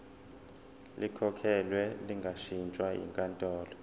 likhokhelwe lingashintshwa yinkantolo